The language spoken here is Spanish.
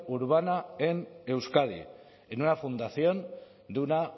urbana en euskadi en una fundación de una